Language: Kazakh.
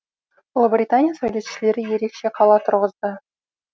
ұлыбритания сәулетшілері ерекше қала тұрғызды